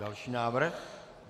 Další návrh.